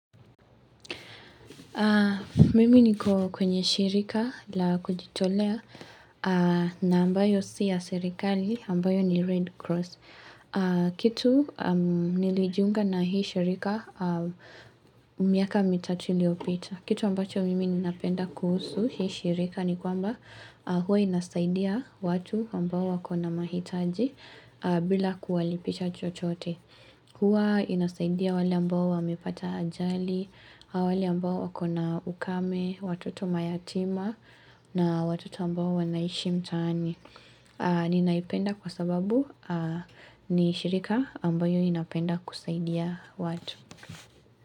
Mimi niko kwenye shirika la kujitolea na ambayo siya serikali ambayo ni Red Cross. Kitu nilijunga na hii shirika miaa mitatu iliyopita. Kitu ambacho mimi ninapenda kuhusu hii shirika ni kwamba huwa inasaidia watu ambao wakona mahitaji bila kuwalipisha chochote. Huwa inasaidia wale ambao wamepata ajali, wale ambao wakona ukame, watoto mayatima na watoto ambao wanaishi mtani. Ninaipenda kwa sababu ni shirika ambayo inapenda kusaidia watu.